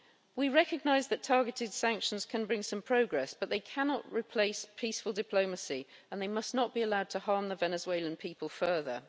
We recognise that targeted sanctions can bring some progress, but they cannot replace peaceful diplomacy, and they must not be allowed to harm the Venezuelan people further.